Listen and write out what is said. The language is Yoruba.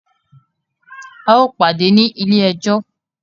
A o pàdé ní ilé ẹjọ́!